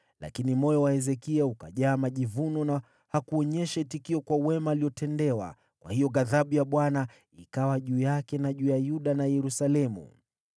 Lakini moyo wa Hezekia ukajaa majivuno na hakuonyesha itikio kwa wema aliotendewa, kwa hiyo ghadhabu ya Bwana ikawa juu yake na juu ya Yuda na Yerusalemu.